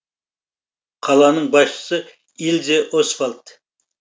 қаланың басшысы ильзе освальд